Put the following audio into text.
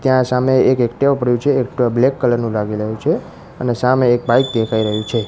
ત્યાં સામે એક એકટીવા પડ્યું છે એકટીવા બ્લેક કલર નું લાગી રહ્યું છે અને સામે એક બાઈક દેખાય રહ્યું છે.